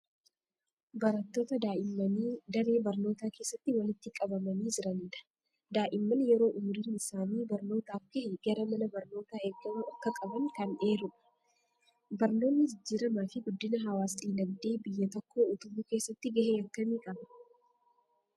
Barattoota daa'immanii daree barnootaa keessatti walitti qabamanii jiranidha. Daa'imman yeroo umuriin isaanii barnootaaf gahe gara mana barnootaa ergamuu akka qaban kan eerudha. Barnoonni jijjiiramaa fi guddina hawaas-dinagdee biyya tokkoo utubuu keessatti gahee akkamii qaba?